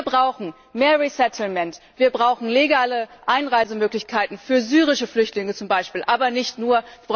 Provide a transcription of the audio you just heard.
Wir brauchen mehr wir brauchen legale Einreisemöglichkeiten für syrische Flüchtlinge zum Beispiel, aber nicht nur.